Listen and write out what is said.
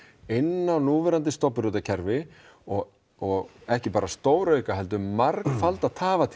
inn á núverandi stofnbrautakerfi og og ekki bara stórauka heldur margfalda